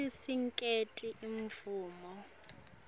c sinikete imvumo